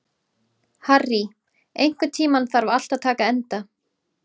Harry, einhvern tímann þarf allt að taka enda.